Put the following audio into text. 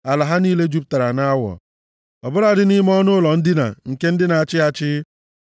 Ala ha niile jupụtara nʼawọ ọ bụladị nʼime ọnụụlọ ndina nke ndị na-achị achị.